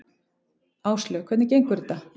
Áslaug: Hvernig gengur þetta?